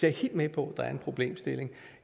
er helt med på at der er en problemstilling